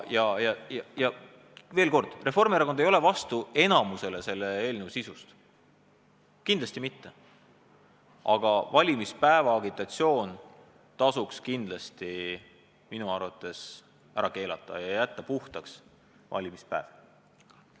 Veel kord, suuremale osale selle eelnõu sisust Reformierakond vastu ei ole, kindlasti mitte, aga valimispäeva agitatsioon tasuks minu arvates kindlasti ära keelata ja jätta valimispäev puhtaks.